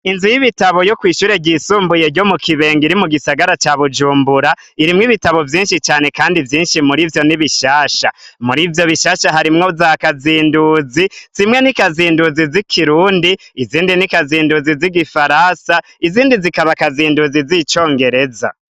Inzu y'ibitabo yo kwishure ryisumbuye ryo mu kibenga iri mu gisagara ca bujumbura, irimwo ibitabo vyinshi cane, kandi vyinshi muri vyo n'ibishasha muri vyo bishasha, harimwo za kazinduzi zimwe n'ikazinduzi z'i kirundi, izindi n'ikazinduzi z'igifarasa, izindi zikaba akazinduzi z'icongereza.